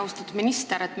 Austatud minister!